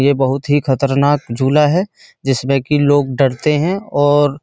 ये बहूत ही खतरनाक झूला है जिसमें की लोग डरते हैं और --